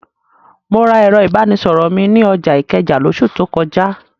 Mo ra ẹ̀rọ ìbánisọ̀rọ̀ mi ní ọjà Ìkẹjà lóṣù tó kọjá.